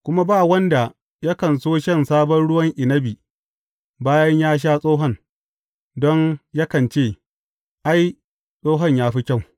Kuma ba wanda yakan so shan sabon ruwan inabi bayan ya sha tsohon, don yakan ce, Ai, tsohon ya fi kyau.